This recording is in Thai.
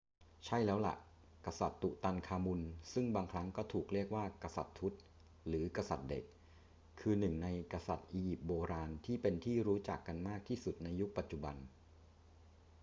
ใช่แล้วล่ะ กษัตริย์ตุตันคามุนซึ่งบางครั้งก็ถูกเรียกว่า กษัตริย์ทุต หรือ กษัตริย์เด็ก คือหนึ่งในกษัตริย์อียิปต์โบราณที่เป็นที่รู้จักกันมากที่สุดในยุคปัจจุบัน